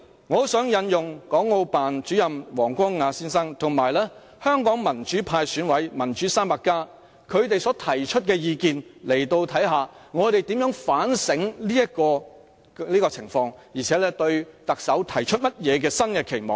我很想在此引用港澳辦主任王光亞先生，以及民主派選委"民主 300+" 他們所提出的意見，看看我們怎樣反省這種情況，並對特首提出甚麼新的期望。